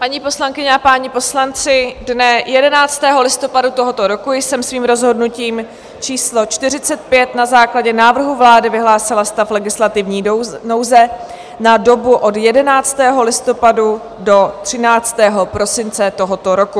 Paní poslankyně a páni poslanci, dne 11. listopadu tohoto roku jsem svým rozhodnutím číslo 45 na základě návrhu vlády vyhlásila stav legislativní nouze na dobu od 11. listopadu do 13. prosince tohoto roku.